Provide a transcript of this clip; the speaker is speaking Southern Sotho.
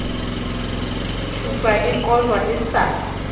thupa e kojwa e sa